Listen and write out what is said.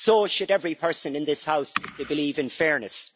So should every person in this House who believes in fairness.